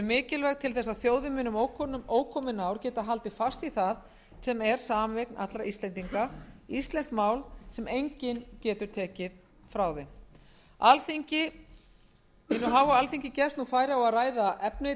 mikilvæg til þess að þjóðin muni um ókomin ár geta haldið fast í það sem er sameign allra íslendinga íslenskt mál sem enginn getur tekið frá þeim alþingi gefst nú færi á að ræða efni